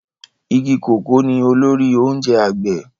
Igi kòkó ni olórí oúnjẹ àgbẹ̀